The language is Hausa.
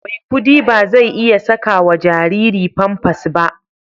Maikudi ba zai iya saka wa jariri Pampers ba.